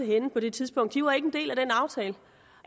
henne på det tidspunkt de var ikke en del af den aftale